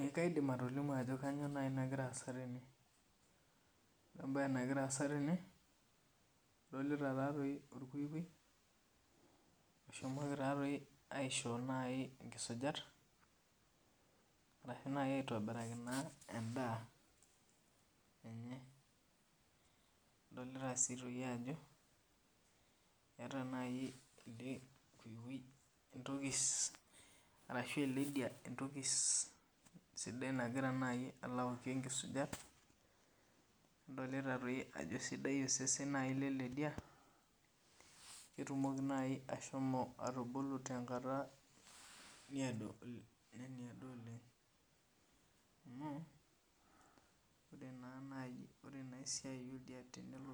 Ee kaidim atolimu ajo kanyioo nai nagira aasa tene. Ore ebae nagira aasa tene, adolita tatoi orkukui, oshomoko tatoi aisho nai inkisujat, arahi nai aitobiraki naa endaa enye. Nadolita si toi ajo, eeta nai ele kuikui entoki arashu ele lidia entoki sidai nagira nai alo aokie nkisujat, nadolita toi ajo sidai osesen nai lele dia, ketumoki nai ashomo atubulu tenkata niedo nemedo oleng. Amu, ore na nai ore naa esiai oldia tenelo